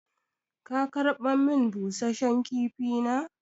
Ka karɓar min busashen kifi na?